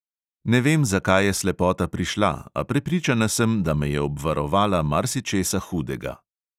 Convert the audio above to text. "Ne vem, zakaj je slepota prišla, a prepričana sem, da me je obvarovala marsičesa hudega."